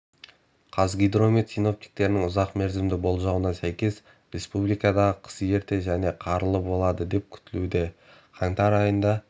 қазгидромет синоптиктерінің ұзақ мерзімді болжауына сәйкес республикадағы қыс ерте және қарлы болады деп күтілуде қаңтар айында